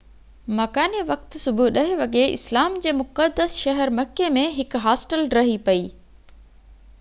مڪاني وقت صبح 10 وڳي اسلام جي مقدس شهر مڪي ۾ هڪ هاسٽل ڊهي پئي